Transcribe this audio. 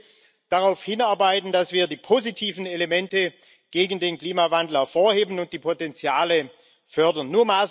Ich möchte darauf hinarbeiten, dass wir die positiven Elemente gegen den Klimawandel hervorheben und die Potenziale fördern.